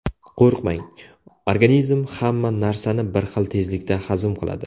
Qo‘rqmang: organizm hamma narsani bir xil tezlikda hazm qiladi.